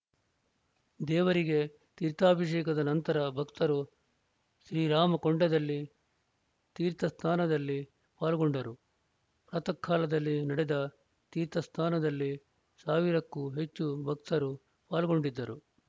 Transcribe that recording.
ದೇವರಿಗೆ ತೀರ್ಥಾಭಿಷೇಕದ ನಂತರ ಭಕ್ತರು ಶ್ರೀರಾಮಕೊಂಡದಲ್ಲಿ ತೀರ್ಥಸ್ನಾನದಲ್ಲಿ ಪಾಲ್ಗೊಂಡರು ಪ್ರಾತಃಕಾಲದಲ್ಲಿ ನಡೆದ ತೀರ್ಥಸ್ನಾನದಲ್ಲಿ ಸಾವಿರಕ್ಕೂ ಹೆಚ್ಚು ಭಕ್ತರು ಪಾಲ್ಗೊಂಡಿದ್ದರು